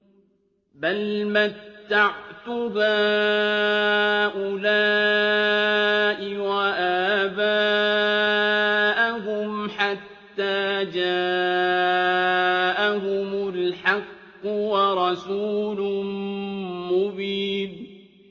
بَلْ مَتَّعْتُ هَٰؤُلَاءِ وَآبَاءَهُمْ حَتَّىٰ جَاءَهُمُ الْحَقُّ وَرَسُولٌ مُّبِينٌ